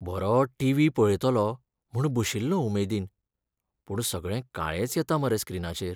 बरों TV पळयतलों म्हूण बशिल्लों उमेदीन. पूण सगळें काळेंच येता मरे स्क्रिनाचेर.